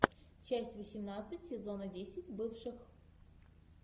часть восемнадцать сезона десять бывших